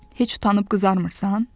Heç utanım qızarmırsan?